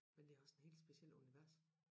Men det også en hel speciel univers